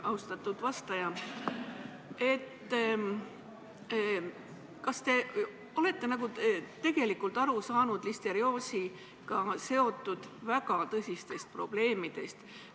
Austatud vastaja, kas te olete tegelikult aru saanud listerioosiga seotud väga tõsistest probleemidest?